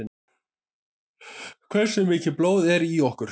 Hversu mikið blóð er í okkur?